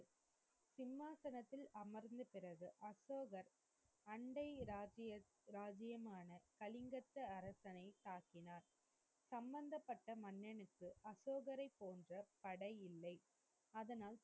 சிமாசனத்தில் அமர்ந்த பிறகு அசோகர் அண்டை இராஜ்ஜியம், இராஜ்ஜியமான, கலிங்கத்து அரசனை தாக்கினார். சமந்தப்பட்ட மன்னனுக்கு அசோகரை போன்ற படைபலம் இல்லை. அதனால்,